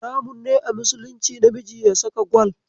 Haramun ne a musulunci namiji ya saka gwal.